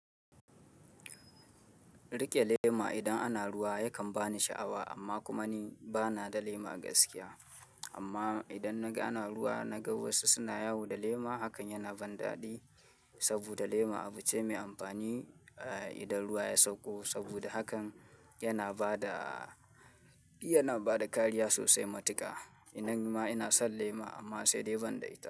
Rike lema idan ana ruwa yakan bani sha'awa amma kuma ni bana da lema a gaskiya. Amma idan naga ana ruwa, naga wasu suna yawo da lema hakan yana ban daɗi saboda lema abu ce me amfani idan ruwa ya sauko saboda hakan yana bada, yana bada kariya sosai matuka. Nan ni ma ina son lema amma sai dai banda ita.